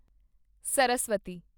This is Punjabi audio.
ਸਰਸਵਤੀ